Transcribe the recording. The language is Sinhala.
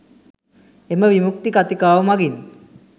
එම විමුක්ති කතිකාව මගින්